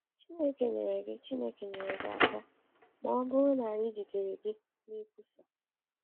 Chineke nyere gị Chineke nyere gị aka ma ọ bụrụ na anyị jidere gị na-ekwusa.”